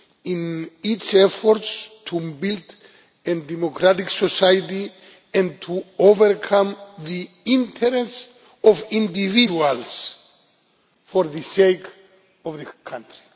in its efforts to build a democratic society and to overcome the interest of individuals for the sake of the country.